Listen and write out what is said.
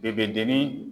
I bɛ denin